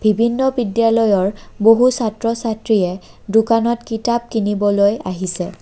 বিভিন্ন বিদ্যালয়ৰ বহু ছাত্ৰ ছাত্ৰীয়ে দোকানত কিতাপ কিনিবলৈ আহিছে।